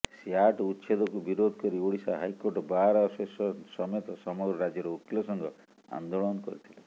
SAT ଉଚ୍ଛେଦକୁ ବିରୋଧକରି Odisha high court bar association ସମେତ ସମଗ୍ର ରାଜ୍ୟର ଓକିଲ ସଂଘ ଆନ୍ଦୋଳନ କରିଥିଲେ